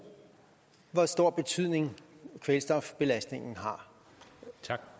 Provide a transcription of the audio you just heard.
hvor stor betydning kvælstofbelastningen har